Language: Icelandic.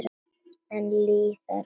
Enn líða árin.